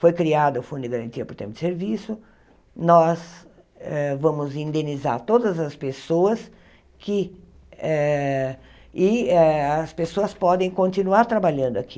Foi criado o Fundo de Garantia por Tempo de Serviço, nós eh vamos indenizar todas as pessoas que eh e eh as pessoas podem continuar trabalhando aqui.